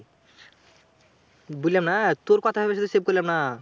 বুললাম না? তোর কথায় ঐজন্য save করলাম না।